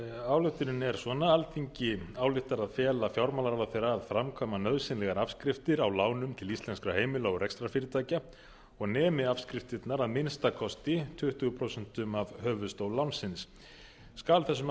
ályktunin er svona alþingi ályktar að fela fjármálaráðherra að framkvæma nauðsynlegar afskriftir á lánum til íslenskra heimila og rekstrarfyrirtækja og nemi afskriftirnar að minnsta kosti tuttugu prósent af höfuðstól láns skal þessum